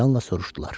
Həyəcanla soruşdular.